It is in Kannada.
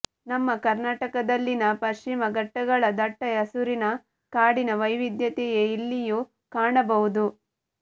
ನಮ್ಮ ಕರ್ನಾಟಕದಲ್ಲಿನ ಪಶ್ಚಿಮ ಘಟ್ಟಗಳ ದಟ್ಟ ಹಸುರಿನ ಕಾಡಿನ ವೈವಿದ್ಯತೆಂುೆು ಇಲ್ಲಿಂುೂ ಕಾಣಬರುವುದು